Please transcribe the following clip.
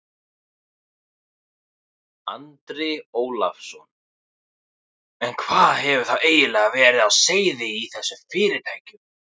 Andri Ólafsson: En hvað hefur þá eiginlega verið á seyði í þessum fyrirtækjum?